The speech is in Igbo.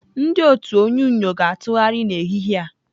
Ndị otu onyunyo ga-atụgharị n'ehihie a.